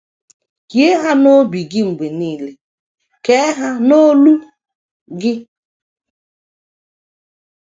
Hie ha n’obi gị mgbe nile, kee ha n’olu gị. ”